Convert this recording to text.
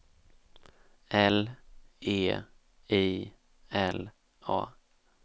L E I L A